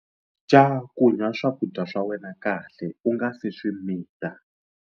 Cakunya swakudya swa wena kahle u nga si swi mita.